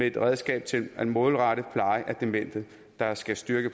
et redskab til at målrette plejen af demente der skal styrke